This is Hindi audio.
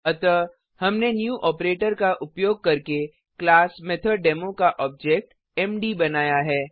अतः हमने न्यू ऑपरेटर का उपयोग करके क्लास मेथोडेमो का ऑब्जेक्ट मद बनाया है